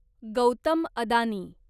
Gautam Adani